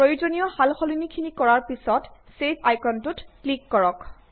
প্ৰয়োজনীয় সাল সলনিখিনি কৰাৰ পিছত ছেভ আইকনটোত ক্লিক কৰক